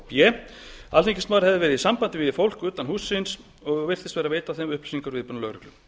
b alþingismaður hefði verið í sambandi við fólk utan hússins og virst vera að veita þeim upplýsingar um viðbúnað lögreglu